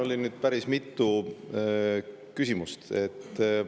Siin oli päris mitu küsimust.